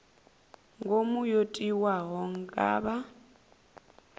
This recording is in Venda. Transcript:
ngomu yo tiwaho nga vha